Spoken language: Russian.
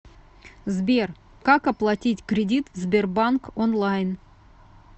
сбер как оплатить кредит в сбербанк онлайн